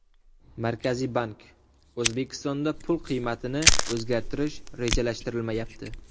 Markaziy bank: O‘zbekistonda pul qiymatini o‘zgartirish rejalashtirilmayapti.